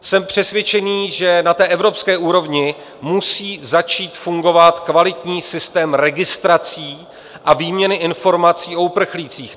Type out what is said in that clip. Jsem přesvědčený, že na té evropské úrovni musí začít fungovat kvalitní systém registrací a výměny informací o uprchlících.